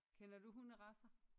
Kender du hunderacer?